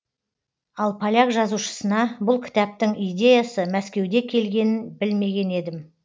ал поляк жазушысына бұл кітаптың идеясы мәскеуде келгенін білмеген едім